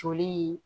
Joli